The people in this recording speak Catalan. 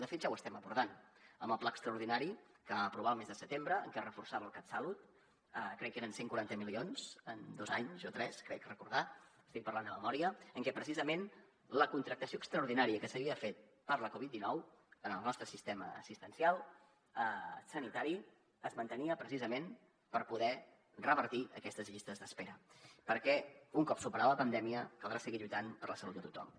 de fet ja ho estem abordant amb el pla extraordinari que vam aprovar el mes de setembre en què es reforçava el catsalut crec que eren cent i quaranta milions en dos anys o tres crec recordar estic parlant de memòria en què precisament la contractació extraordinària que s’havia fet per la covid dinou en el nostre sistema assistencial sanitari es mantenia precisament per poder revertir aquestes llistes d’espera perquè un cop superada la pandèmia caldrà seguir lluitant per la salut de tothom